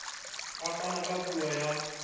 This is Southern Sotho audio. a fana ka puo ya